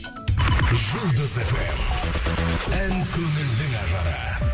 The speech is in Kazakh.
жұлдыз фм ән көңілдің ажары